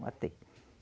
Matei.